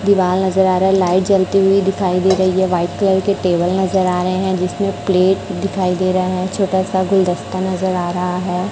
दीवाल नजर आ रहा है लाइट जलती हुई दिखाई दे रही है वाइट के टेबल नजर आ रहे हैं जिसमें प्लेट दिखाई दे रहा है छोटा सा गुलदस्ता नजर आ रहा है।